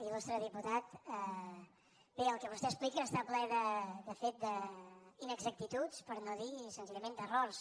il·lustre diputat bé el que vostè explica està ple de fet d’inexactituds per no dir senzillament d’errors